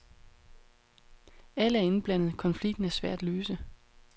Alle er indblandet, konflikten er svær at løse.